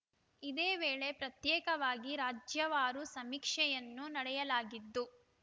ಇದೇ ವೇಳೆ ಪ್ರತ್ಯೇಕವಾಗಿ ರಾಜ್ಯವಾರು ಸಮೀಕ್ಷೆಯನ್ನೂ ನಡೆಯಲಾಗಿದ್ದು